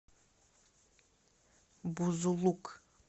бузулук